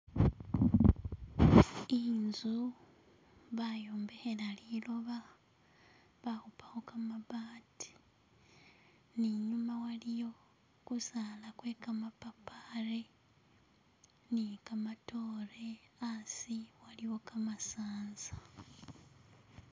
Inzu bayombekhela liloba bakhupakho gamabaati ne inyuma waliyo gusaala gwe gamapapali ni gamatoore hasi waliyo kamasanza